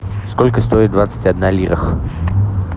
сколько стоит двадцать одна лира